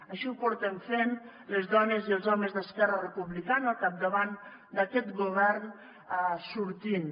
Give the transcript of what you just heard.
així ho portem fent les dones i els homes d’esquerra republicana al capdavant d’aquest govern sortint